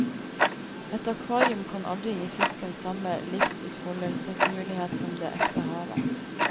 Et akvarium kan aldri gi fisken samme livsutfoldelsesmulighet som det ekte havet.